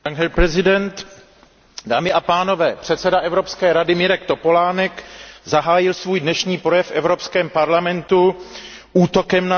Dámy a pánové, předseda Evropské rady Mirek Topolánek zahájil svůj dnešní projev v Evropském parlamentu útokem na sociální demokracii.